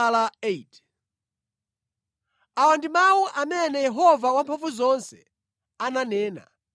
Awa ndi mawu amene Yehova Wamphamvuzonse ananena.